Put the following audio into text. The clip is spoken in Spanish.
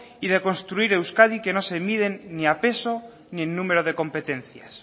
y de construir euskadi que no se miden ni a peso ni en número de competencias